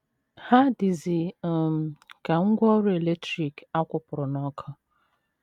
Ha dịzi um ka ngwá ọrụ eletrik a kwụpụrụ n’ọkụ.